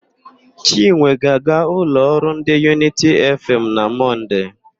Chinwe ga-aga ụlọ ọrụ ndị Yunity Efeem na Mọnde.